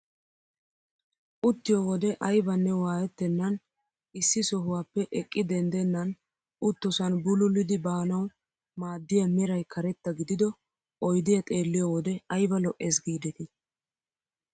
Uttiyoo wode aybanne waayettenan issi sohuwaappe eqqi denddenan uttosan bululiidi baanawu maaddiyaa meray karetta gidido oydiyaa xeelliyoo wode ayba lo"es giidetii!